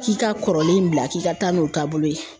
K'i ka kɔrɔlen in bila k'i ka taa n'o taabolo ye.